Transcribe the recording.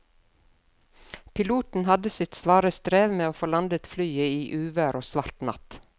Piloten hadde sitt svare strev med å få landet flyet i uvær og svart natt.